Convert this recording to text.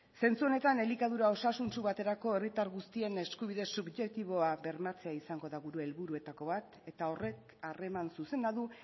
zentzu honetan elikadura osasuntsu baterako herritar guztien eskubide subjektiboa bermatzea izango da gure helburuetako bat eta horrek harreman zuzena du